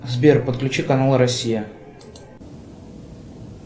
сбер подключи канал россия